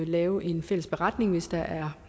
lave en fælles beretning hvis der er